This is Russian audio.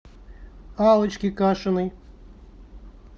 аллочке кашиной